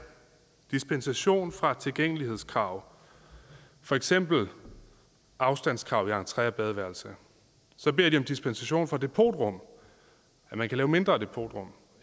dispensation fra tilgængelighedskrav for eksempel afstandskrav i entre og badeværelse så beder de om dispensation fra depotrum at man kan lave mindre depotrum